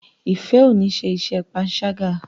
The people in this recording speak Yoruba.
Ifẹ ọ ní ṣe iṣé panṣaga.